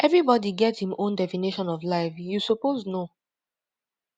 everybody get im own definition of life you suppose know